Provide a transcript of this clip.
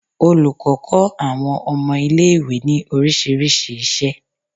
Olùkọ́ kó àwọn ọmọ ilé ìwé ní orísìírísìí isẹ